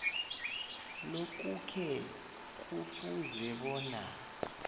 lokhuke kufuze bona